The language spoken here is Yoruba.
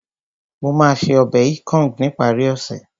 Mo máa ṣe ọbẹ̀ ikong ní ìparí ọ̀sẹ̀